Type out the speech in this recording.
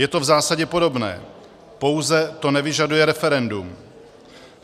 Je to v zásadě podobné, pouze to nevyžaduje referendum.